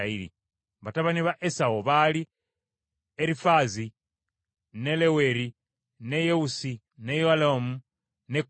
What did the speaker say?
Batabani ba Esawu baali Erifaazi, ne Leweri, ne Yewusi, ne Yalamu ne Koola.